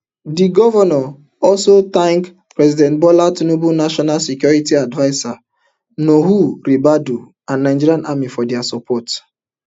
di govnor also thank president bola tinubu national security adviser nuhu ribadu and nigerian army for dia effort